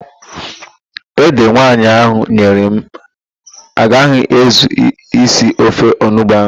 Ede nwaanyị ahụ nyere m agaghị ezu isi ofe onugbo ahụ.